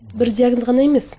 бір диагноз ғана емес